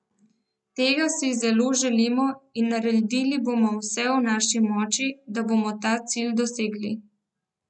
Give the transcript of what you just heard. Tega si zelo želimo in naredili bomo vse v naši moči, da bomo ta cilj dosegli.